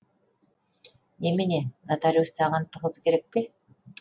немене нотариус саған тығыз керек пе